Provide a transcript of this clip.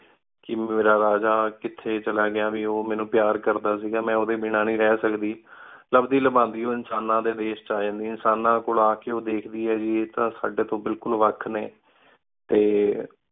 ਕੀ ਮੇਰਾ ਰਾਜਾ ਕਿਤਹੀ ਚਲਾ ਗਯਾ ਕੀ ਉ ਮੇਨੂ ਪ੍ਯਾਰ ਕਰਦਾ ਸੀ ਗਾ ਮੈਂ ਉਦਯ ਬਿਨਾ ਨੀ ਰਹ ਸਕਦੀ ਲ੍ਬ੍ਦੀ ਲਾਬੰਦੀ ਊ ਇਨਸਾਨਾ ਡੀ ਡਿਸ਼ ਵੇਚ ਅਜੰਦੀ ਇਨਸਾਨਾ ਕੋਲ ਅਕੀ ਊ ਧ੍ਖ ਦੀ ਆਯ ਆਯ ਤਾਂ ਸਾਡੀ ਤੂੰ ਬਿਲਕੁਲ ਵਖ ਨੀ ਟੀ